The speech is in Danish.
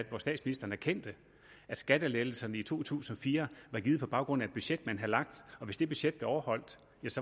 hvor statsministeren erkendte at skattelettelserne i to tusind og fire var givet på baggrund af et budget man havde lagt og hvis det budget blev overholdt